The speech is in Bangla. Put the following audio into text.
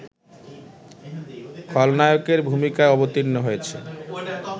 খলনায়কের ভূমিকায় অবতীর্ণ হয়েছে